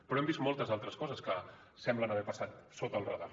però hem vist moltes altres coses que semblen haver passat sota el radar